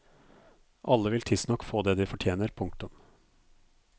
Alle vil tidsnok få det de fortjener. punktum